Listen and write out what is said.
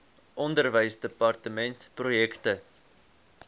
onderwysdepartementprojekte